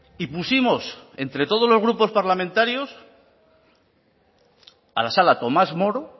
y pusimos entre todos los grupos parlamentarios a la sala tomás moro